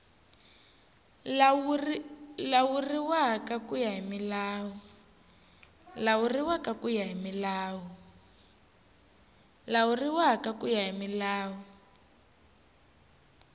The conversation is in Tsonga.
lawuriwa ku ya hi milawu